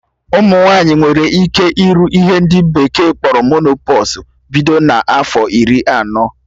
Ụmụ nwaanyị nwere ike ịrụ ihe ndị bekee kpọrọ menopọsụ bido na afọ iri anọ